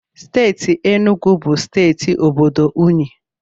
Steeti Enugu bụ steeti obodo unyi.